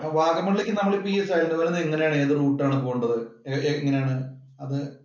അപ്പൊ വാഗമമണ്ണിലേക്ക് നമ്മള് ഇപ്പം ഇവിടുന്നു എങ്ങനെയാണ് ഏതുറൂട്ട് ആണ് പോവേണ്ടത്? എങ്ങനെയാണ് അത്